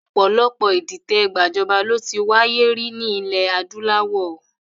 Ọ̀pọ̀lọpọ̀ ìdìtẹ̀ gbajọba ló ti wáyé rí ní ilẹ̀ adúláwọ̀